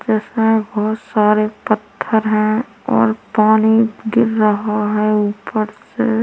इसमें बहुत सारे पत्थर हैऔर पानी गिर रहा है ऊपर से--